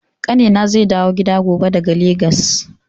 Ƙanina zai dawo gida gobe daga Legas.